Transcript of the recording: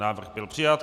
Návrh byl přijat.